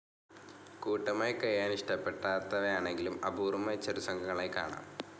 കൂട്ടമായി കഴിയാനിഷ്ടപ്പെടാത്തവയാണെങ്കിലും അപൂർവമായി ചെറുസംഘങ്ങളായി കാണാം.